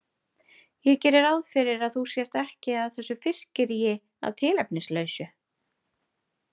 Ég geri ráð fyrir að þú sért ekki að þessu fiskiríi að tilefnislausu.